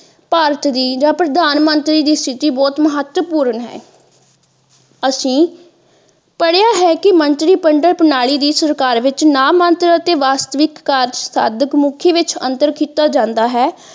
ਭਾਰਤ ਦੀ ਜਾ ਪ੍ਰਧਾਨਮੰਤਰੀ ਦੀ ਸਥਿਤੀ ਬਹੁਤ ਮਹੱਤਵਪੂਰਨ ਹੈ ਅਸੀਂ ਪੜ੍ਹਿਆ ਹੈ ਕਿ ਮੰਤਰੀ ਮੰਡਲ ਪ੍ਰਨਾਲੀ ਦੀ ਸਰਕਾਰ ਵਿੱਚ ਨਾਮੰਤਰ ਅਤੇ ਵਾਸਤਵਿਕ ਕਾਰਜ ਸਾਧਕ ਮੁੱਖੀ ਵਿੱਚ ਅੰਤਰ ਕੀਤਾ ਜਾਂਦਾ ਹੈ।